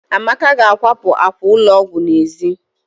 Amaka ga-akwapụ àkwà ụlọ ọgwụ n'èzí